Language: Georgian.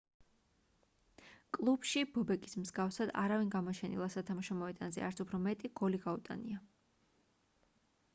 კლუბში ბობეკის მსგავსად არავინ გამოჩენილა სათამაშო მოედანზე არც უფრო მეტი გოლი გაუტანია